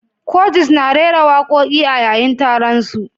Curtis na rera wakoki a yayin taron su.